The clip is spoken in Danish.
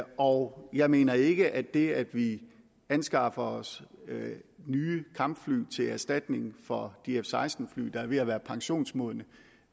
og jeg mener ikke at det at vi anskaffer os nye kampfly til erstatning for de f seksten fly der er ved at være pensionsmodne